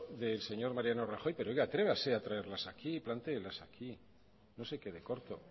del señor mariano rajoy pero oiga atrévase a traerlas aquí plantéelas aquí no se quede corto